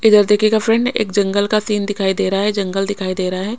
इधर देखिएगा फ्रेंड्स एक जंगल एक का सीन दिखाई दे रहा है जंगल दिखाई दे रहा है।